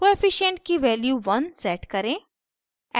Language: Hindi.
कोअफिशन्ट की value 1 set करें